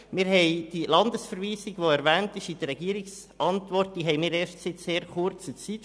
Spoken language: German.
Wir haben die Landesverweisung, die in der Regierungsantwort erwähnt ist, erst seit sehr kurzer Zeit.